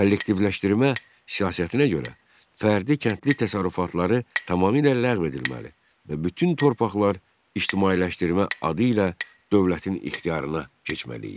Kollektivləşdirmə siyasətinə görə fərdi kəndli təsərrüfatları tamamilə ləğv edilməli və bütün torpaqlar ictimailəşdirmə adı ilə dövlətin ixtiyarına keçməli idi.